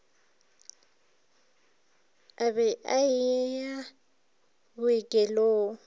a be a ye bookelong